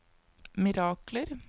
mirakler